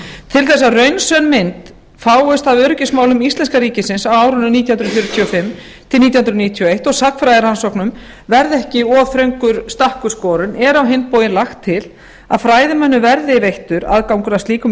til þess að raunsönn mynd fáist af öryggismálum íslenska ríkisins á árunum nítján hundruð fjörutíu og fimm til nítján hundruð níutíu og eins og sagnfræðirannsóknum verði ekki of þröngur stakkur skorinn er á hinn bóginn lagt til að fræðimönnum verði veittur aðgangur að slíkum